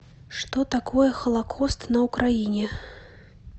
что такое холокост на украине